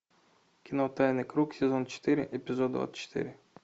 кино тайный круг сезон четыре эпизод двадцать четыре